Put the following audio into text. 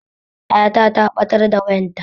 Yata ta ɓatar da wayanta